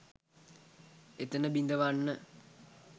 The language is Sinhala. එතැන බිඳවන්න